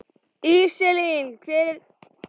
Íselín, hver er dagsetningin í dag?